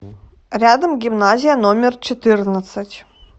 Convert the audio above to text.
рядом гимназия номер четырнадцать